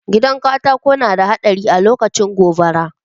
Gidan katako na da haɗari alokacin gobara